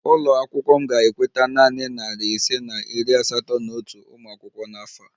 Ụlọ akwụkwọ m ga-ekweta nanị narị ise na iri asatọ na otu ụmụ akwụkwọ n'afọ a